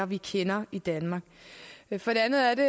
vi kender i danmark for det andet